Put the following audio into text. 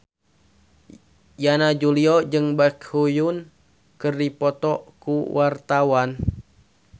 Yana Julio jeung Baekhyun keur dipoto ku wartawan